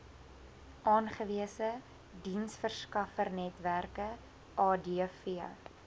aangewese diensverskaffernetwerke adv